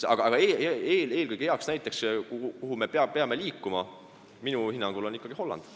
Hea näide selle kohta, kuhupoole me peame liikuma, on minu hinnangul ikkagi Holland.